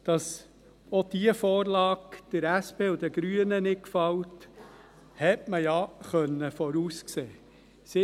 Dass diese Vorlage der SP und den Grünen nicht gefällt, hat man ja voraussehen können.